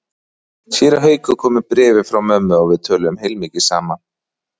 Séra Haukur kom með bréfið frá mömmu og við töluðum heilmikið saman.